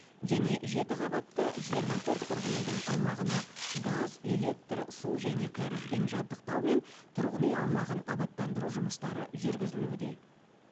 және жеті қабатты жиырма төрт тұрғын үйдің аумағына газ электр су және кәрізбен жабдықтау мен тұрғын үй аумағын абаттандыру жұмыстары жүргізілуде